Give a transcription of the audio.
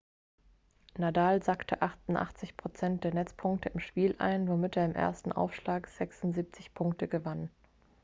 nadal sackte 88% der netzpunkte im spiel ein womit er im ersten aufschlag 76 punkte gewann